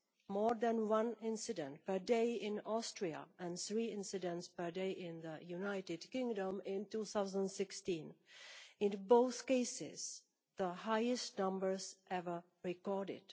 There was more than one incident a day in Austria and three incidents per day in the United Kingdom in 2016, in both cases the highest numbers ever recorded.